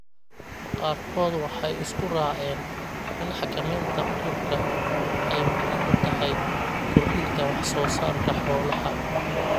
Qaarkood waxay isku raaceen in xakamaynta cudurku ay muhiim u tahay kordhinta wax soo saarka xoolaha.